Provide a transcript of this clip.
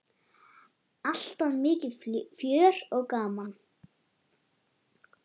Alltaf mikið fjör og gaman.